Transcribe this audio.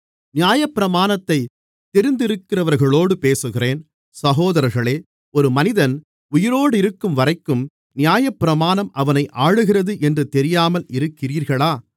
நியாயப்பிரமாணத்தை தெரிந்திருக்கிறவர்களோடு பேசுகிறேன் சகோதரர்களே ஒரு மனிதன் உயிரோடிருக்கும்வரைக்கும் நியாயப்பிரமாணம் அவனை ஆளுகிறது என்று தெரியாமல் இருக்கிறீர்களா